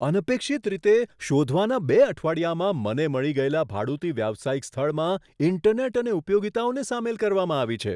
અનપેક્ષિત રીતે, શોધવાના બે અઠવાડિયામાં મને મળી ગયેલા ભાડુતી વ્યવસાયિક સ્થળમાં ઇન્ટરનેટ અને ઉપયોગિતાઓને સામેલ કરવામાં આવી છે.